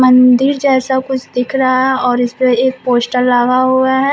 मंदिर जैसा कुछ दिख रहा है और इस पे एक पोस्टर लगा हुआ है।